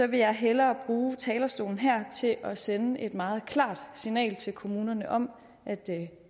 vil jeg hellere bruge talerstolen her til at sende et meget klart signal til kommunerne om at